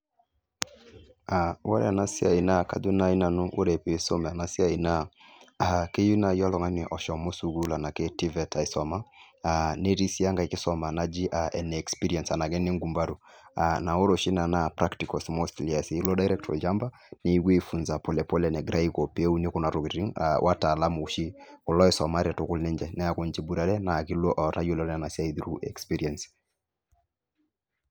Ore ena siai naa kajo naai nanu ore piisum ena siai naa keyieu naai oltung'ani oshomo sukuul enake TVET aisuma aa netii sii enkae kisuma naji aa ene experience enaake ene ngumbaru aa naa ore oshi ina naa practicals mostly eesi, ilo direct olchamba nikipuoi aifunza pole pole enegirai aiko pee euni kuna tokitin aa wataalamu oshi kulo oisumate tukul ninche neeku ninche iboitare naa kilo ootayiolo ena siai through experience.